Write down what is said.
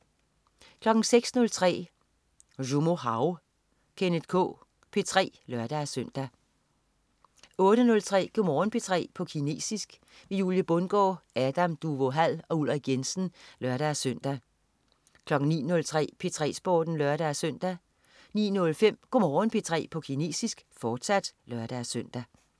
06.03 Zhoumo hao. Kenneth K P3 (lør-søn) 08.03 Go' Morgen P3 på kinesisk. Julie Bundgaard, Adam Duvå Hall og UIrik Jensen (lør-søn) 09.03 P3 Sporten (lør-søn) 09.05 Go' Morgen P3 på kinesisk, fortsat (lør-søn)